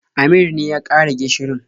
Amir ne ya ƙara gishirin.